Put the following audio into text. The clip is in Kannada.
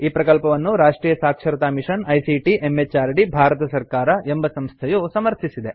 ಈ ಪ್ರಕಲ್ಪವನ್ನು ರಾಷ್ಟ್ರಿಯ ಸಾಕ್ಷರತಾ ಮಿಷನ್ ಐಸಿಟಿ ಎಂಎಚಆರ್ಡಿ ಭಾರತ ಸರ್ಕಾರ ಎಂಬ ಸಂಸ್ಥೆಯು ಸಮರ್ಥಿಸಿದೆ